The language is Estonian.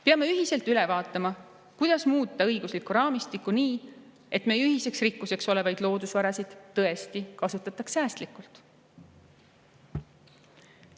Peame ühiselt üle vaatama, kuidas muuta õiguslikku raamistikku nii, et meie ühiseks rikkuseks olevaid loodusvarasid tõesti kasutataks säästlikult.